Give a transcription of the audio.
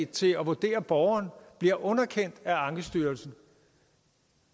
til at vurdere borgeren bliver underkendt af ankestyrelsen